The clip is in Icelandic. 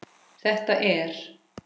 Þetta er.